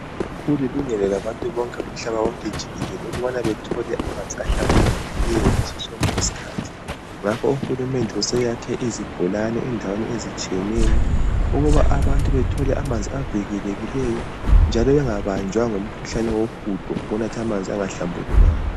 Kulilungelo labantu bonke umhlaba wonke jikelele ukubana bethole amanzi ahlambulukileyo, ngaso sonke isikhathi ngakho, uhulumende useyakhe izibholane endaweni ezitshiyeneyo ukuba bathole amanzi avikelekileyo njalo bengabanjwa ngumkhuhlane wohudo ngoku natha amanzi angahlambulukanga.